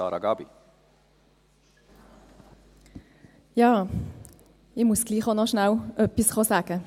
Ich muss gleichwohl noch kurz etwas sagen.